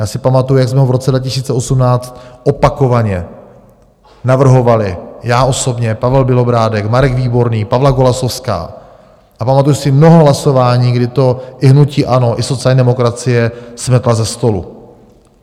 Já si pamatuju, jak jsme ho v roce 2018 opakovaně navrhovali, já osobně, Pavel Bělobrádek, Marek Výborný, Pavla Golasowská, a pamatuju si mnoho hlasování, kdy to i hnutí ANO, i sociální demokracie smetly ze stolu.